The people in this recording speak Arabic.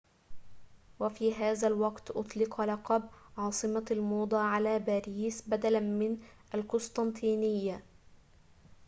وفي هذا الوقت أُطلق لقب عاصمة الموضة على باريس بدلا من القسطنطينية